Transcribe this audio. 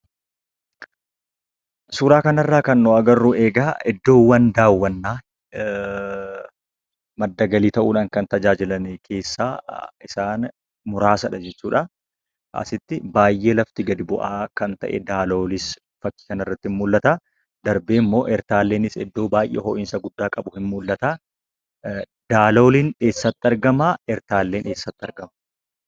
Suuraa kanarraa kan nu agarru egaa iddoowwan daawwannaa madda galii ta'uudhaan kan tajaajilan keessaa isaan muraasa jechuudha. Asitti lafti baay'ee gadi bu'aa kan ta'e Daaloolis kanarratti mul'ata darbeemmoo Ertaalleen ho'iinsa baay'ee guddaa qabu ni mul'ata. Daalooliin eessatti argama ertaalleen eessatti argama?